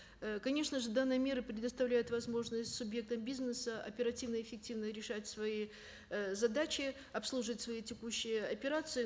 ы конечно же данная мера предоставляет возможность субъектам бизнеса оперативно эффективно решать свои ы задачи обслужить свои текущие операции